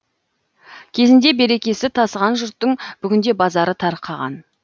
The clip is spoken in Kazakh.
кезінде берекесі тасыған жұрттың бүгінде базары тарқаған